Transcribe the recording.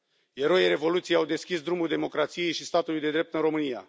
Eroii Revoluției au deschis drumul democrației și statului de drept în România.